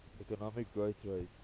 economic growth rates